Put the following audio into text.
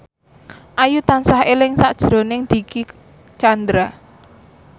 Ayu tansah eling sakjroning Dicky Chandra